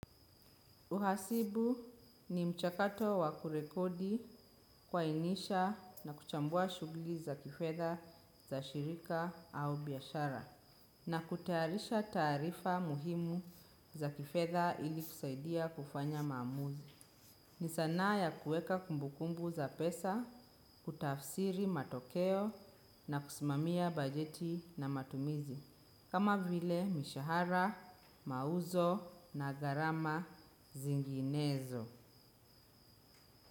Uhasibu ni mchakato wa kurekodi kuainisha na kuchambua shughuli za kifedha za shirika au biashara. Na kutayarisha taarifa muhimu za kifedha ili kusaidia kufanya maamuzi. Ni sanaa ya kuweka kumbukumbu za pesa, kutafsiri matokeo na kusimamia bajeti na matumizi. Kama vile mishahara, mauzo na gharama zinginezo.